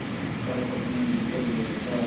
का सपना बिखर गया था